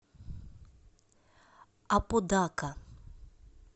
аподака